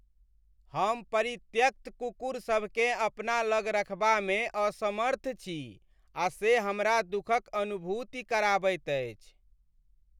हम परित्यक्त कुकुरसभकेँ अपना लग रखबामे असमर्थ छी आ से हमरा दुखक अनुभूति कराबैत अछि।